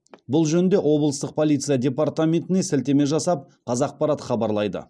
бұл жөнінде облыстық полиция департаментіне сілтеме жасап қазақпарат хабарлайды